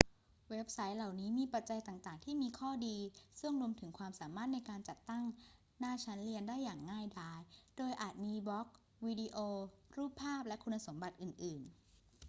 เว็บไซต์เหล่านี้มีปัจจัยต่าง ๆ ที่มีข้อดี ซึ่งรวมถึงความสามารถในการจัดตั้งหน้าชั้นเรียนได้อย่างง่ายดาย โดยอาจมีบล็อก วิดีโอ รูปภาพ และคุณสมบัติอื่น ๆ